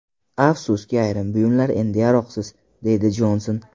Afsuski ayrim buyumlar endi yaroqsiz”, − deydi Jonson.